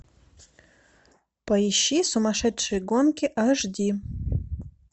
поищи сумасшедшие гонки аш ди